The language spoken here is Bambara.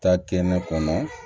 Taa kɛnɛ kɔnɔ